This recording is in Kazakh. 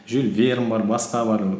жюль верн бар басқа бар